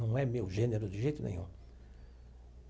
Não é meu gênero de jeito nenhum.